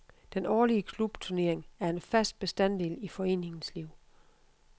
Den årlige klubturnering er en fast bestanddel i foreningens liv.